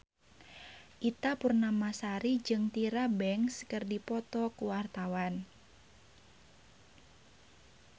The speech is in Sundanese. Ita Purnamasari jeung Tyra Banks keur dipoto ku wartawan